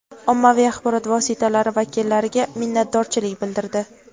ommaviy axborot vositalari vakillariga minnatdorchilik bildirdi.